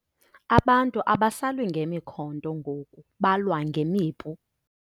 Abantu abasalwi ngemikhonto ngoku balwa ngemipu.